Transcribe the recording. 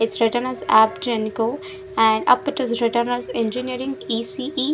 It's written as app Genco and up it is written as engineering E_C_E.